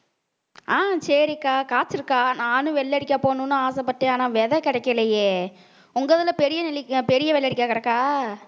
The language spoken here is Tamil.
ஆஹ் சரிக்கா இருக்கா நானும் வெள்ளரிக்கா போகணும்னு ஆசைப்பட்டேன் ஆனா விதை கிடைக்கலையே உங்க இதுல பெரிய நெல்லிக்கா பெரிய வெள்ளரிக்கா கிடக்கா